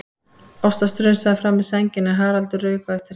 Ásta strunsaði fram með sængina en Haraldur rauk á eftir henni.